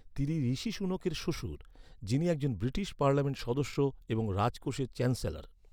তিনি ঋষি সুনাকের শ্বশুর, যিনি একজন ব্রিটিশ পার্লামেন্ট সদস্য এবং রাজকোষের চ্যান্সেলর।